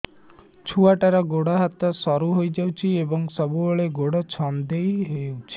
ଛୁଆଟାର ଗୋଡ଼ ହାତ ସରୁ ହୋଇଯାଇଛି ଏବଂ ସବୁବେଳେ ଗୋଡ଼ ଛଂଦେଇ ହେଉଛି